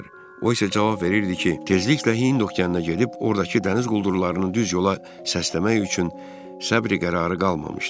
O isə cavab verirdi ki, tezliklə Hind okeanına gedib, ordakı dəniz quldurlarının düz yola səsləmək üçün səbri-qərarı qalmamışdır.